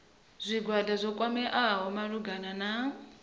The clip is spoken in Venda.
zwigwada zwo kwameaho malugana na